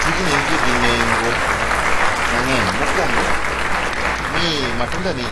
Tijni nitie gi nengo mang'eny. Mokuongo matunda ni,